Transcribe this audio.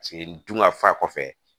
Paseke n dun ka fa kɔfɛ